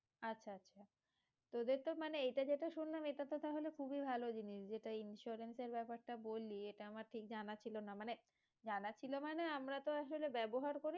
আচ্ছা আচ্ছা তোদের তো মানে এইটা যেটা শুনলাম এটা তো তাহলে খুবিই ভালো জিনিস যেটা insurance এর বেপার টা বললি এটা আমার ঠিক জানা ছিল না মানে জানা ছিল মানে আমরা তো আসলে ব্যাবহার করি